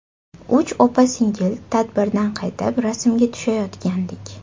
Uch opa-singil tadbirdan qaytib, rasmga tushayotgandik.